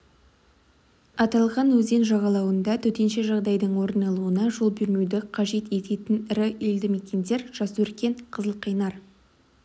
аталған өзен жағалауында төтенше жағдайдың орын алуына жол бермеуді қажет ететін ірі елді мекендер жасөркен қызылқайнар